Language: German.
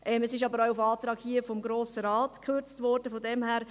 Es wurde aber auch auf Antrag des Grossen Rates gekürzt, von daher: